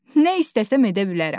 Nə istəsəm edə bilərəm.